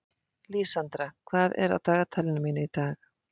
Lísandra, hvað er á dagatalinu mínu í dag?